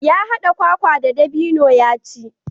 Ya haɗa kwakwa da dabino ya ci.